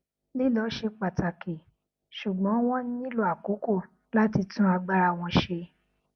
lílọ ṣe pàtàkì ṣugbọn wọn nílò àkókò láti tún agbára wọn ṣe